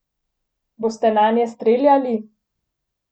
Boste nanje streljali?